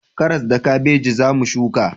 Karas da kabeji za mu shuka